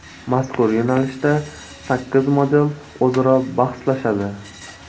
Mazkur yo‘nalishda sakkiz model o‘zaro bahslashadi.